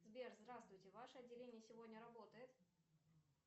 сбер здравствуйте ваше отделение сегодня работает